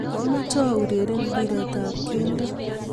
Kwa mache aureren ,mbiret ab keldo